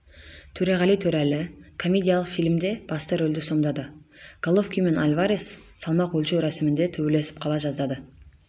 төреғали төреәлі комедиялық фильмде басты рөлді сомдады головкин мен альварес салмақ өлшеу рәсімінде төбелесіп қала жаздады